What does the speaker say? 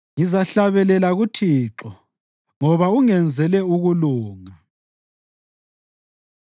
Ngizahlabelela kuThixo, ngoba ungenzele ukulunga.